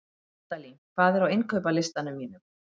Hjaltalín, hvað er á innkaupalistanum mínum?